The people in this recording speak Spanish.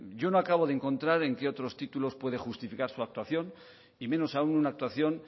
yo no acabo de encontrar en qué otros títulos puede justificar su actuación y menos aún una actuación